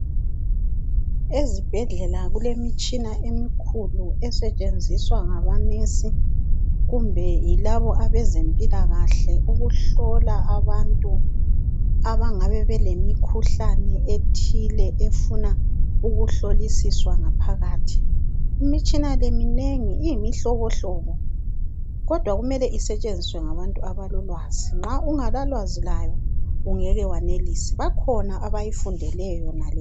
Ezibhedlela kulemitshina emikhulu esetshenziswa ngabonesi kumbe yilaba abezempilakahle ukuhlola abantu abangabe belemikhuhlane ethile efuna ukuhlolisiswa ngaphakathi. Imitshina leyi iminengi iyimihlobohlobo kodwa kumele isetshenziswe ngabantu abalolwazi, nxa ungelalwazi layo ungeke wenelise, bakhona abayifundeleyo yena le imitshina.